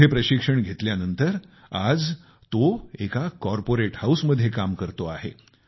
येथे प्रशिक्षण घेतल्यानंतर आज तो एका कॉर्पोरेट हाऊसमध्ये नोकरी करत आहेत